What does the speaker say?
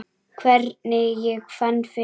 Hvernig ég fann fyrir þeim?